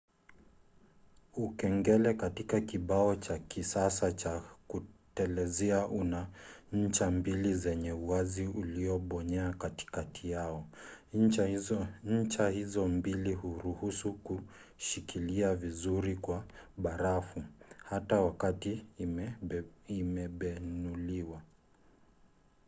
ukengele katika kibao cha kisasa cha kutelezea una ncha mbili zenye uwazi uliobonyea katikati yao. ncha hizo mbili huruhusu kushikilia vizuri kwa barafu hata wakati imebenuliwa